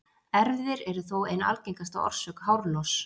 Erfðir eru þó ein algengasta orsök hárloss.